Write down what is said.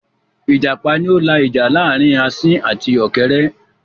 Ìjàpá ni ó la ìjà láàrin asín àti ọ̀kẹ́rẹ́